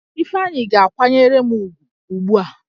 Ifeanyi ga-kwanyere m ugwu ugbu a!